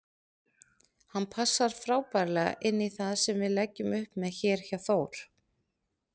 Hann passar frábærlega inní það sem við leggjum upp með hér hjá Þór.